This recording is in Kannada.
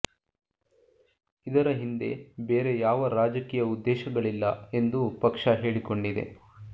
ಇದರ ಹಿಂದೆ ಬೇರೆ ಯಾವ ರಾಜಕೀಯ ಉದ್ದೇಶಗಳಿಲ್ಲ ಎಂದು ಪಕ್ಷ ಹೇಳಿಕೊಂಡಿದೆ